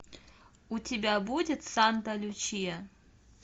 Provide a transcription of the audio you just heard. у тебя будет санта лючия